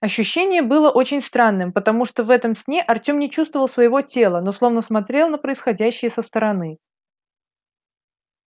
ощущение было очень странным потому что в этом сне артём не чувствовал своего тела но словно смотрел на происходящее со стороны